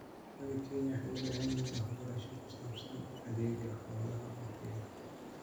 Xoolo-dhaqatada Kenya waxay u baahan yihiin waxbarasho ku saabsan adeegga xoolaha oo tayo leh.